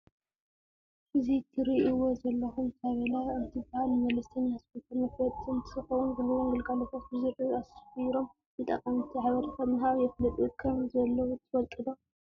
እዚ እትሪእዎ ዘለኹም ታበላ እንትበሃል ንመለስተኛ ሆስፒታል መፋለጢ እንተኸውን ዝህውዎም ግልጋሎታት ብዝርዝር አስፊሮም ንተጠቀምቲ ሓበሬታ ብምሃብ የፋልጡ ከም ዘለው ትፈልጡ ዶ?